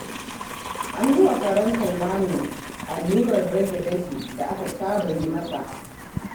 An yi wa karen Salmanu allurar rage dafi da aka saba yi masa